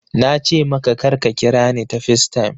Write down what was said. Na ce maka kar ka kira ni ta FaceTime!